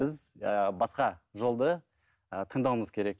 біз ы басқа жолды ы таңдауымыз керек